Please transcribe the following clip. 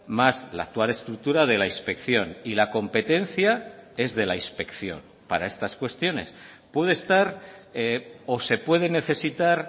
más la actual estructura de la inspección y la competencia es de la inspección para estas cuestiones puede estar o se puede necesitar